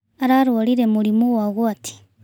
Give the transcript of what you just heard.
Ararwarire mũrimũ wa ũgwati.